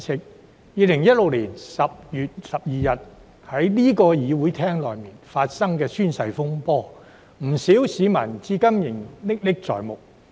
在2016年10月12日，不少市民對於在這個會議廳內發生的宣誓風波至今仍歷歷在目。